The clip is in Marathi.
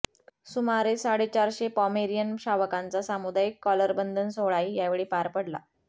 सुमारे साडेचारशे पॉमेरियन शावकांचा सामुदायिक कॉलरबंधन सोहळाही यावेळी पार पडला